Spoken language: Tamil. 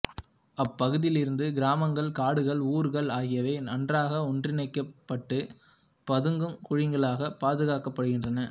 அப்பகுதியிலிருந்த கிராமங்கள் காடுகள் ஊர்கள் ஆகியவை நன்றாக ஒன்றிணைக்கப்பட்டு பதுங்கு குழிகளால் பாதுகாக்கப்பட்டிருந்தன